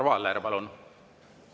Arvo Aller, palun!